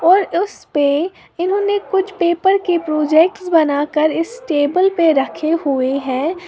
और उस पे इन्होंने कुछ पेपर के प्रोजेक्ट्स बना कर इस टेबल पे रखे हुए हैं।